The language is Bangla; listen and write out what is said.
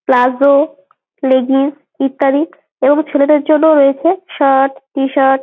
প্লাজো লেগিন্স ইত্যাদি এবং ছেলেদের জন্য রয়েছে শার্ট টি-শার্ট ।